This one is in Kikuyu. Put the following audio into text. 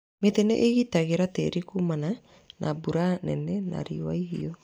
Mĩtĩ nĩ ĩgitagĩra tĩri kumana na mbura nene na riũa ihiũ.